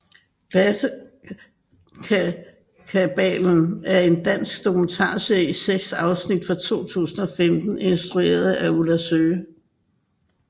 Klassekabalen er en dansk dokumentarserie i seks afsnit fra 2015 instrueret af Ulla Søe